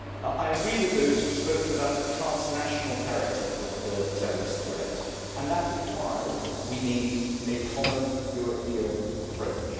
I agree with those who've spoken about the transnational character of the terrorist threat, and that is why we need a common European approach.